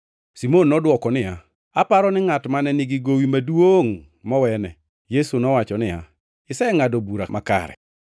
Simon nodwoko niya, “Aparo ni ngʼat mane nigi gowi maduongʼ mowene.” Yesu nowacho niya, “Isengʼado bura makare.”